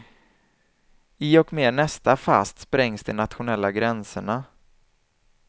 I och med nästa fast sprängs de nationella gränserna.